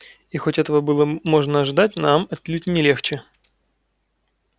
и хоть этого было можно ожидать нам отнюдь не легче